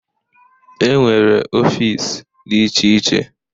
E nwere ọfịs dị iche iche.